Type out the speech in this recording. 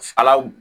Ala